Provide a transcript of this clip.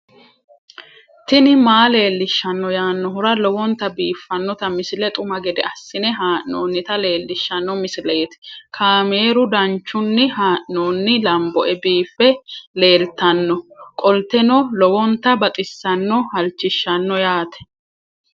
tini maa leelishshanno yaannohura lowonta biiffanota misile xuma gede assine haa'noonnita leellishshanno misileeti kaameru danchunni haa'noonni lamboe biiffe leeeltannoqolten lowonta baxissannoe halchishshanno yaate